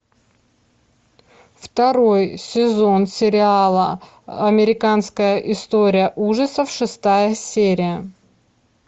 второй сезон сериала американская история ужасов шестая серия